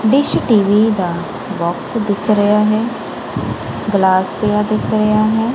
Dish TV ਦਾ box ਦਿਸ ਰਿਹਾ ਹੈ ਗਲਾਸ ਪਿਆ ਦਿਸ ਰਿਹਾ ਹੈ।